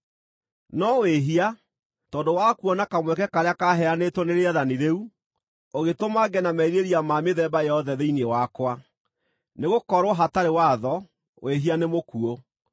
No wĩhia, tondũ wa kuona kamweke karĩa kaaheanĩtwo nĩ rĩathani rĩu, ũgĩtũma ngĩe na merirĩria ma mĩthemba yothe thĩinĩ wakwa. Nĩgũkorwo hatarĩ watho, wĩhia nĩ mũkuũ.